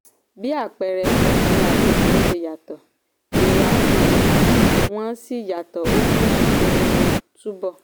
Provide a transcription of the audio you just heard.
bí àpẹẹrẹ ọkùnrin àti obìnrin ṣe yàtọ̀ èrò àti ìrírí wọn sì yàtọ̀ ó mú ìpinnu wọn túbọ̀.